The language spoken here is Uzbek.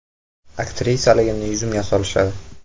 Aktrisaligimni yuzimga solishadi.